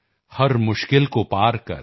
ਹਰ ਮੁਸ਼ਕਿਲ ਕੋ ਪਾਰ ਕਰ